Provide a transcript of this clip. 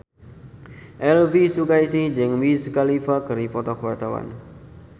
Elvi Sukaesih jeung Wiz Khalifa keur dipoto ku wartawan